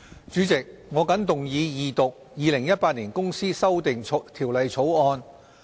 主席，我謹動議二讀《2018年公司條例草案》。